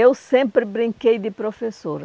Eu sempre brinquei de professora.